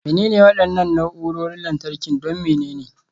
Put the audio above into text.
Menene waɗannan na'urorin lantarki don menene?